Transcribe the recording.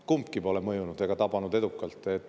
Kumbki pole mõjunud ega tabanud edukalt.